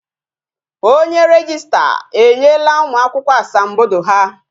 Onye rejista enyela ụmụ akwụkwọ asambodo ha